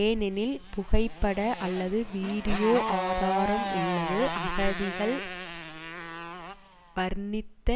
ஏனெனில் புகைப்பட அல்லது வீடியோ ஆதாரம் உள்ளது அகதிகள் வர்ணித்த